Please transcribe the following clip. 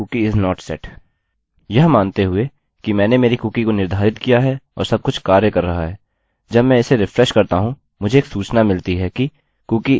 यह मानते हैं कि मैंने मेरी कुकीcookie को निर्धारित किया और सब कुछ कार्य कर रहा है जब मैं इसे रिफ्रेशrefresh करता हूँ मुझे एक सूचना मिलती है कि cookie is set